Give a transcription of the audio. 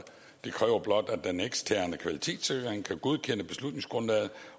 det kræver blot at den eksterne kvalitetssikring kan godkende beslutningsgrundlaget